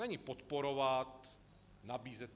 Není podporovat, nabízet.